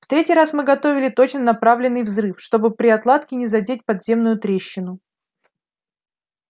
в третий раз мы готовили точно направленный взрыв чтобы при отладке не задеть подземную трещину